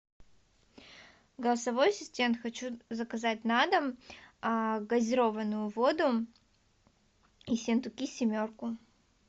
голосовой ассистент хочу заказать на дом газированную воду ессентуки семерку